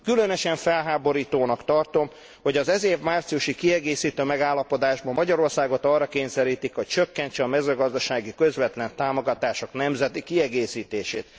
Különösen felháborítónak tartom, hogy az ez év márciusi kiegészítő megállapodásban Magyarországot arra kényszerítik, hogy csökkentse a mezőgazdasági közvetlen támogatások nemzeti kiegészítését.